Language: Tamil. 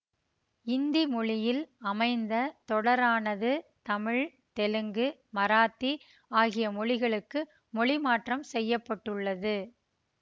இந்தி மொழியில் அமைந்த தொடரானது தமிழ் தெலுங்கு மராத்தி ஆகிய மொழிகளுக்கு மொழி மாற்றம் செய்ய பட்டுள்ளது